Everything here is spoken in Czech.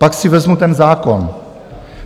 Pak si vezmu ten zákon.